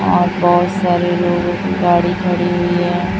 और बहुत सारे लोगों की गाड़ी खड़ी हुई है।